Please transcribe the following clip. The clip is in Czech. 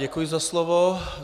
Děkuji za slovo.